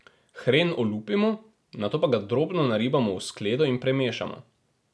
Hren olupimo, nato pa ga drobno naribamo v skledo in premešamo.